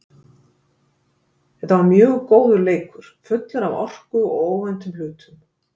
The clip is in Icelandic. Þeta var mjög góður leikur, fullur af orku og óvæntum hlutum.